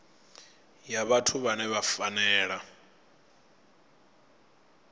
ya vhathu vhane vha fanela